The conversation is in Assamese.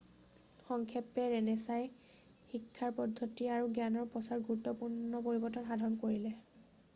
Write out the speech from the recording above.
সংক্ষেপে ৰেণেছাঁই শিক্ষাৰ পদ্ধতি আৰু জ্ঞানৰ প্ৰচাৰত গুৰুত্বপূৰ্ণ পৰিৱৰ্তন সাধন কৰিলে